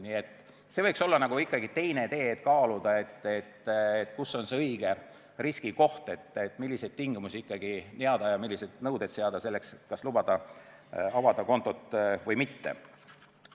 Nii et see võiks olla teine tee, kaaluda, kus on see õige riski koht, milliseid tingimusi ja milliseid nõudeid ikkagi seada selleks, kas lubada kontot avada või mitte.